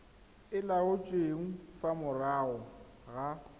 e laotsweng fa morago ga